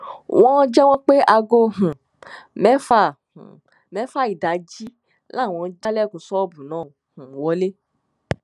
wọn jẹwọ pé aago um mẹfà um mẹfà ìdájí làwọn jálẹkùn ṣọọbù náà um wọlé